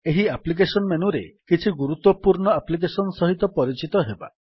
ଏହି ଆପ୍ଲିକେଶନ୍ ମେନୁରେ କିଛି ଗୁରୁତ୍ୱପୂର୍ଣ୍ଣ ଆପ୍ଲିକେଶନ୍ ସହିତ ପରିଚିତ ହେବା